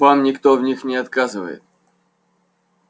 вам никто в них не отказывает